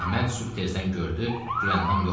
Əhməd sübh tezdən gördü Gülyandam yoxdu.